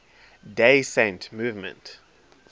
day saint movement